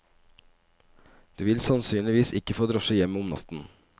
Du vil sannsynligvis ikke få drosje hjem om natten.